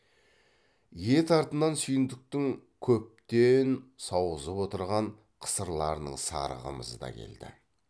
ет артынан сүйіндіктің көптен сауғызып отырған қысырларының сары қымызы да келді